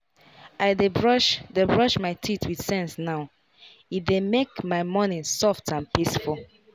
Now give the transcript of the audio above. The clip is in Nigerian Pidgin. i dey brush dey brush my teeth with sense now — e dey make my morning soft and peaceful.